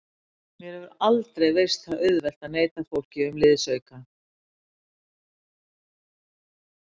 Mér hefur aldrei veist það auðvelt að neita fólki um liðsauka.